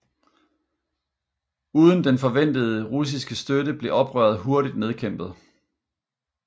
Uden den forventede russiske støtte blev oprøret hurtigt nedkæmpet